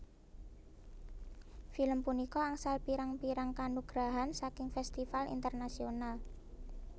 Film punika angsal pirang pirrang kanugrahan saking festival Internasional